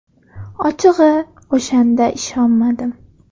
Ochig‘i, o‘shanda ishonmadim.